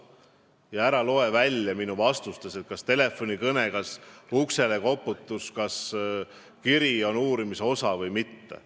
Ja ära loe välja minu vastustest, kas telefonikõne, kas uksele koputus, kas mingi kiri on uurimise objekt või mitte.